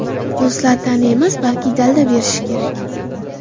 Do‘stlar ta’na emas, balki dalda berishi kerak.